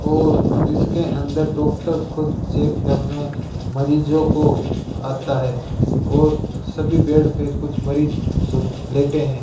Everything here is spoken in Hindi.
और इसके अंदर डॉक्टर खुद चेक करने मरीजों को आता है और सभी बेड पर कुछ मरीज सूत लेते हैं।